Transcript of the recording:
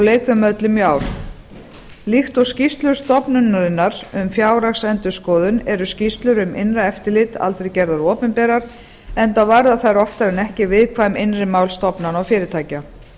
lauk þeim öllum í ár líkt og skýrslur stofnunarinnar um fjárhagsendurskoðun eru skýrslur um innra eftirlit aldrei gerðar opinberar enda verða þær oftar en ekki viðkvæm innri mál stofnana og fyrirtækja